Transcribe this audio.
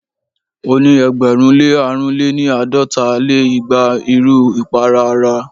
o ni ẹgbẹ̀rún lé àrún lé-ní- àádọ́ta lé igba n iru ipara ara